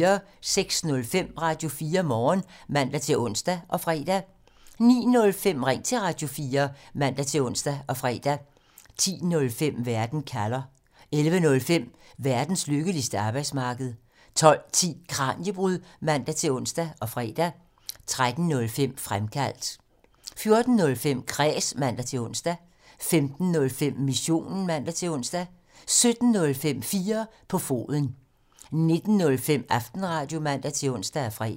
06:05: Radio4 Morgen (man-ons og fre) 09:05: Ring til Radio4 (man-ons og fre) 10:05: Verden kalder (man) 11:05: Verdens lykkeligste arbejdsmarked (man) 12:10: Kraniebrud (man-ons og fre) 13:05: Fremkaldt (man) 14:05: Kræs (man-ons) 15:05: Missionen (man-ons) 17:05: 4 på foden (man) 19:05: Aftenradio (man-ons og fre)